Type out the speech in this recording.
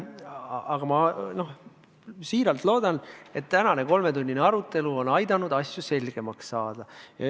Aga ma väga loodan, et tänane kolmetunnine arutelu on aidanud asju selgemaks saada.